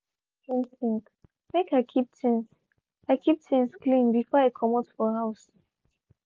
i wiped de bathroom sink make i keep things i keep things clean before i commote for house.